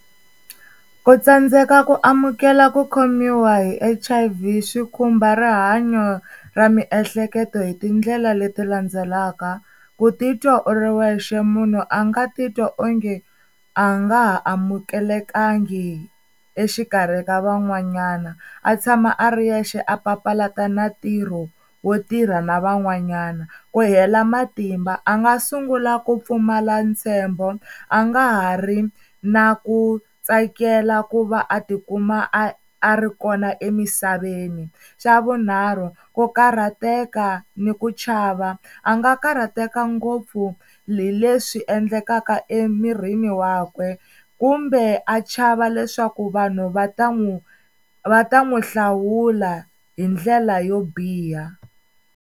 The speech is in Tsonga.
Ku tsandzeka ku amukela ku khomiwa hi H_I_V swi khumba rihanyo ra miehleketo hi tindlela leti landzelaka, ku titwa u ri wexe munhu a nga titwa onge a nga ha amukelekangi exikarhi ka van'wanyana. A tshama a ri yexe a papalata na ntirho wo tirha na van'wanyana, ku hela matimba a nga sungula ku pfumala ntshembo a nga ha ri na ku tsakela ku va a tikuma a a ri kona emisaveni. Xa vunharhu ku karhateka ni ku chava a nga karhateka ngopfu hi leswi endlekaka emirini wakwe, kumbe a chava leswaku vanhu va ta n'wi va ta n'wi hlawula hi ndlela yo biha.